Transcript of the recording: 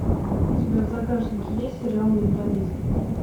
у тебя в загашнике есть сериал менталист